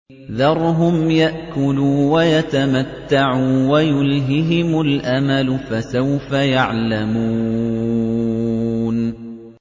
ذَرْهُمْ يَأْكُلُوا وَيَتَمَتَّعُوا وَيُلْهِهِمُ الْأَمَلُ ۖ فَسَوْفَ يَعْلَمُونَ